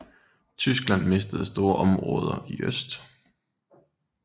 Tyskland mistede store områder i øst